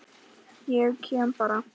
Ég kem bara.